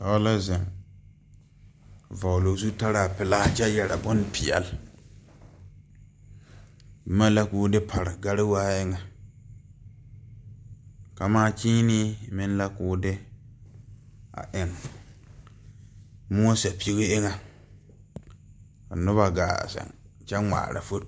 Dɔɔ la zeŋ vɔgloo zutaraa pelaa kyɛ yɛre bonpeɛle boma la koo e pare gariwaa eŋɛ kamaa kyiinee meŋ la koo de a eŋ moɔ sɛpige eŋɛ ka nobɔ gaa zeŋ kyɛ ngmaara fo.